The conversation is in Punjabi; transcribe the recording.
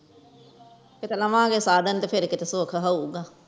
ਕੀਤੇ ਲਾਵਾਂ ਗਏ ਸਾਡੀਆਂ ਤੇ ਫੇਰ ਕੀਤੇ ਸੁਖ ਹੋਊਗਾ